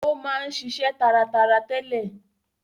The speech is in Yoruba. Ó máa ń ṣiṣe taratara tẹ́lẹ̀.